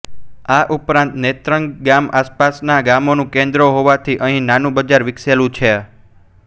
આ ઉપરાંત નેત્રંગ ગામ આસપાસના ગામોનું કેન્દ્ર હોવાથી અહીં નાનું બજાર વિકસેલું છે